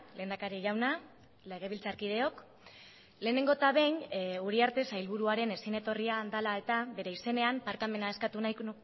lehendakari jauna legebiltzarkideok lehenengo eta behin uriarte sailburuaren ezin etorria dela eta bere izenean barkamena eskatu nahiko